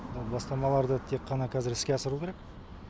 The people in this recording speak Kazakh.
бастамаларды тек қана қазір іске асыру керек